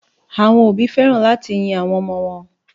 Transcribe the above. Àwọn òbí fẹ́ràn láti yin àwọn ọmọ wọn.